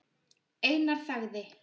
Einar þagði.